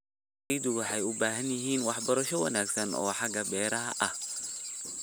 Beeraleydu waxay u baahan yihiin waxbarasho wanaagsan oo xagga beeraha ah.